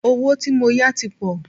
Owó tí mó yá tí pọ̀.